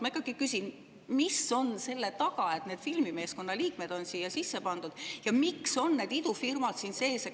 Ma ikkagi küsin: mis on selle taga, et need filmimeeskonnad on siia sisse pandud, ja miks on need idufirmad siin sees?